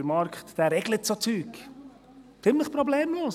Der Markt, der regelt so Zeug ziemlich problemlos.